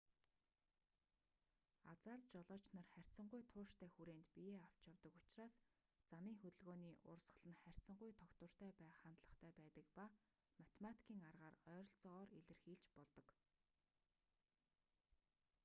азаар жолооч нар харьцангуй тууштай хүрээнд биеэ авч явдаг учраас замын хөдөлгөөний урсгал нь харьцангуй тогтвортой байх хандлагатай байдаг ба математикийн аргаар ойролцоогоор илэрхийлж болдог